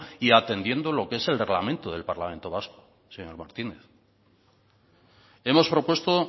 y atendiendo lo que es el reglamento del parlamento vasco señor martínez hemos propuesto